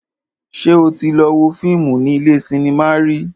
Ṣé o tí lọ wo fíìmù ní ilé cinema rí?